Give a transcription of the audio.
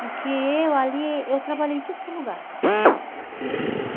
Porque eu ali, eu trabalhei em tudo que é lugar. Uhum.